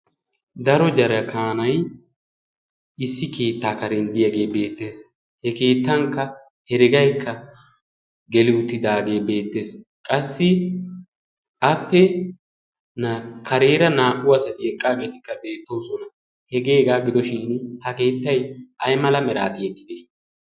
daro jara kaanai issi keettaa karenddiyaagee beettees he keettankka heregaikka geluutidaagee beettees qassi ape na kareera naa77u asati eqqaageetikka beettoosona hegeegaa gidoshin ha keettai ai mala meraati ettide